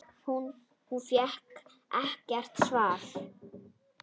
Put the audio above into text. Hún fékk ekkert svar.